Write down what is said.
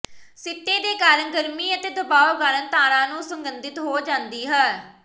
ਸਿੱਟੇ ਦੇ ਕਾਰਨ ਗਰਮੀ ਅਤੇ ਦਬਾਅ ਕਾਰਨ ਤਾਰਾ ਨੂੰ ਸੁਗੰਧਿਤ ਹੋ ਜਾਂਦੀ ਹੈ